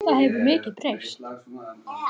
Það hefur mikið breyst.